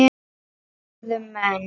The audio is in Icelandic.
spurðu menn.